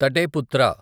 తటే పుత్ర